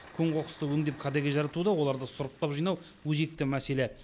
көң қоқысты өңдеп кәдеге жаратуда оларды сұрыптап жинау өзекті мәселе